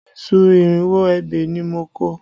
Iṣu irinwó ebè ni mo kọ